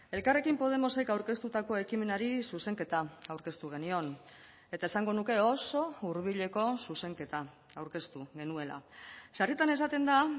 elkarrekin podemosek aurkeztutako ekimenari zuzenketa aurkeztu genion eta esango nuke oso hurbileko zuzenketa aurkeztu genuela sarritan esaten da